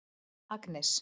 Agnes